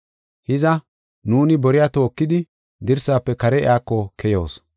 Hiza, nuuni boriya tookidi dirsaafe kare iyako keyoos.